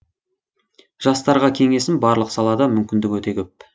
жастарға кеңесім барлық салада мүмкіндік өте көп